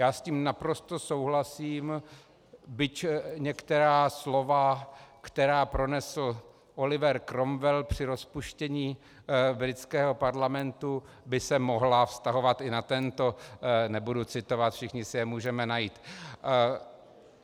Já s tím naprosto souhlasím, byť některá slova, která pronesl Oliver Cromwell při rozpuštění britského parlamentu, by se mohla vztahovat i na tento - nebudu citovat, všichni si je můžeme najít.